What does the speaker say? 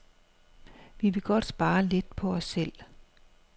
Vi vil godt spare lidt på os selv.